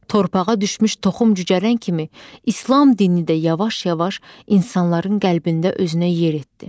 Torpağa düşmüş toxum cücərən kimi, İslam dini də yavaş-yavaş insanların qəlbində özünə yer etdi.